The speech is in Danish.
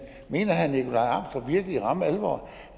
mener herre nikolaj amstrup virkelig i ramme alvor